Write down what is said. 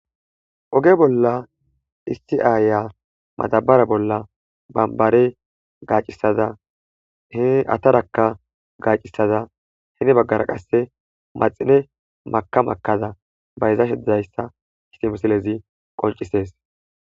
oge bolla isti aaya madabara bolla bambare gaacisada he attarakka gaacisada hene baggara qasse maxine maka makada bayzashe dizayssa eti mesilezi qoncisees